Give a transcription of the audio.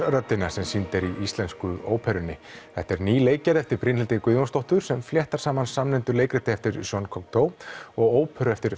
sem sýnd er í Íslensku óperunni þetta er ný leikgerð eftir Brynhildi Guðjónsdóttur sem fléttar saman samnefndu leikriti eftir Jean Cocteau og óperu eftir